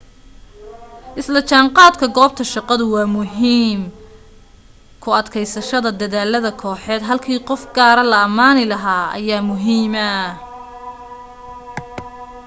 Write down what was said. isla jaanqaadku goobta shaqadu waa muhiim ku adkaysashada dedaalada kooxeed halkii qof gaara la amaani lahaa ayaa muhiima